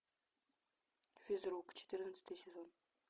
физрук четырнадцатый сезон